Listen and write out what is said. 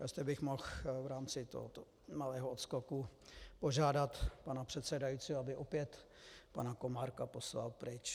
Jestli bych mohl v rámci tohoto malého odskoku požádat pana předsedajícího, aby opět pana Komárka poslal pryč.